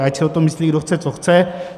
A ať si o tom myslí kdo chce co chce.